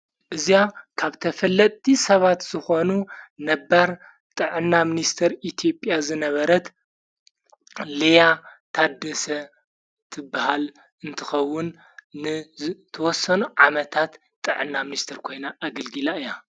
እዚ ካብ ተፈለቲ ሰባት ዝኾኑ ነባር ጥዕና ምንስተር ኢቲጵያ ዝነበረት ልያ ታደሰ ትበሃል እንትኸውን ን ተወሰኑ ዓመታት ጥዕና ምንስተር ኮይና ኣግልግላ እያ።